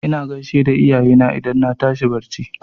Ina gaishe da iyayena idan na tashi a barci.